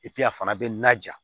a fana bɛ na ja